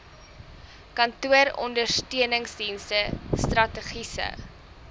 kantooronder steuningsdienste strategiese